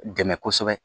Dɛmɛ kosɛbɛ